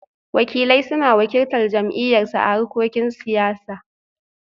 Wakilai suna wakiltar jam'iyyarsu a harkokin siyasa